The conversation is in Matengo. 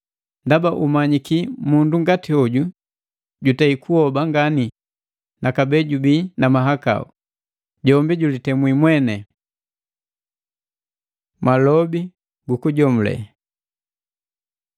ndaba umanyiki mundu ngati hoju jutei kuhoba ngani na kabee jubii na mahakau, jombi julitemwi mweni. Malobi gu kujomule